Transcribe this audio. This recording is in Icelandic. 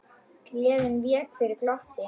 Gleðin vék fyrir glotti.